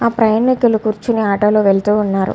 ఆ ప్రయానికులు కూర్చోని ఆటో లో వెలుతూ ఉన్నారు.